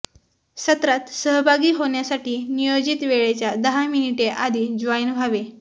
सत्रात सहभागी होण्यासाठी नियोजित वेळेच्या दहा मिनिटे आधी जॉइन व्हावे